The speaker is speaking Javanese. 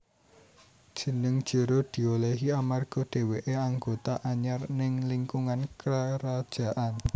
Jeneng Jero diolehi amarga dheweké anggota anyar ning lingkungan karajaan